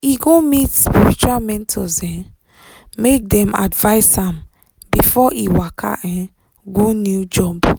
e go meet spiritual mentors um make dem advise am before e waka um go new job.